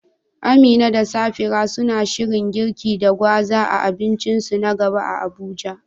Amina da Safira suna shirin girki da gwaza a abincinsu na gaba a Abuja?